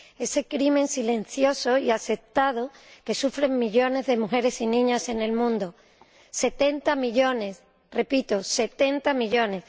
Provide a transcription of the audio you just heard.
Ese crimen silencioso y aceptado que sufren millones de mujeres y niñas en el mundo 70 millones, repito, 70 millones.